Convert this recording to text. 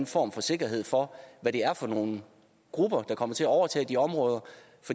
form for sikkerhed for hvad det er for nogle grupper der kommer til at overtage de områder